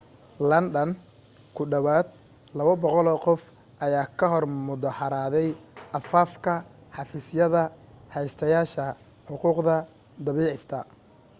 london ku dhawaad 200 qof ayaa ka hor mudaharaaday afaafka xafiisyada haystayaasha xuquuqda daabicista